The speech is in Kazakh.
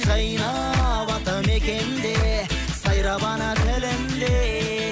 жайнап атамекенде сайрап ана тілінде